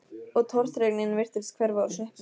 Og tortryggnin virtist hverfa úr svipnum.